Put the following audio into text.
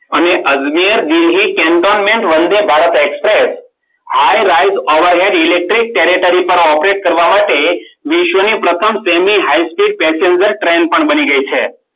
અને Ajmer Delhi Vande Bharat express, i ride our electric territory operate કરવા માટે વિશ્વની પ્રથમ semi high speed passenger train પણ બની ગઈ છે.